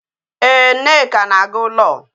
Ee, nneka na agu law